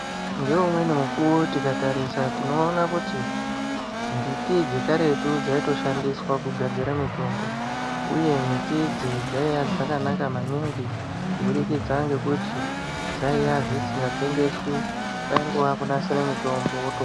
Ngeumweni mukuwo tikatarisa tinoona kuti mbiti dzekaretu dzaitoshandiswa kugadzira mutombo Uye miti idzi dzaiya dzakanaka maningi kubudikidza ngekuti dzaiya dzisingatengeswi kwaiya kungonasira mutombo woto...